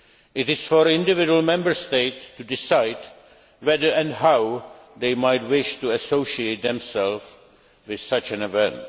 It is for individual Member States to decide whether and how they might wish to associate themselves with such an event.